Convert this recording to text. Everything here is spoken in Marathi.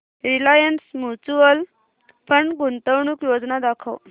रिलायन्स म्यूचुअल फंड गुंतवणूक योजना दाखव